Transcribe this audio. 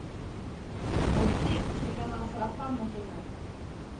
найти телеканал сарафан на тв